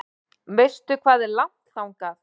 Veistu hvað er langt þangað?